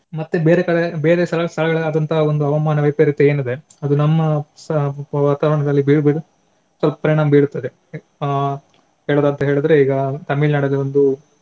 ಮತ್ತೆ ಬೇರೆ ಕಡೆ ಬೇರೆ ಸ್ಥಳಗಳಲ್ಲಿ ಆದಂತಹ ಒಂದು ಹವಾಮಾನ ವೈಪರಿತ್ಯ ಏನಿದೆ ಅದು ನಮ್ಮಸ ವಾತವರಣದಲ್ಲಿ ಬೇರೆ ಬೇರೆ ಪರಿಣಾಮ ಬೀರುತ್ತದೆ. ಅಹ್ ಹೇಳಿದ್ರೆ ಈಗ ತಮಿಳ್ನಾಡಲ್ಲಿ ಒಂದು